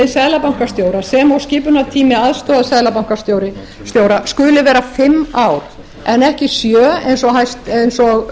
seðlabankastjóra sem og skipulagstími aðstoðarseðlabankastjóra skuli vera fimm ár en ekki sjö eins og